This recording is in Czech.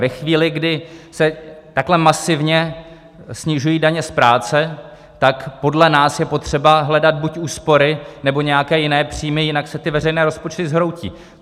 Ve chvíli, kdy se takhle masivně snižují daně z práce, tak podle nás je potřeba hledat buď úspory, nebo nějaké jiné příjmy, jinak se ty veřejné rozpočty zhroutí.